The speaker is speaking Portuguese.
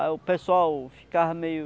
Aí o pessoal ficava meio...